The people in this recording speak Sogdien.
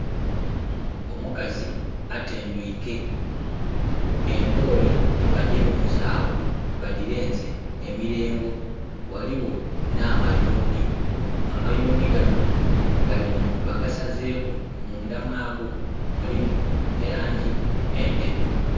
Omukazi atendwike. Embooli badibunze awo, badirenze mu mirengo, waliwo na mayuuni. Amayuuni gano bagasazeeku, munda mwago mulimu elangi enderu